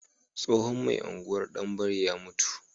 Tsohon mai unguwar danbare ya mutu